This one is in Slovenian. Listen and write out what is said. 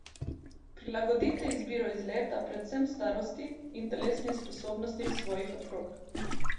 Prilagodite izbiro izleta predvsem starosti in telesnim sposobnostim svojih otrok.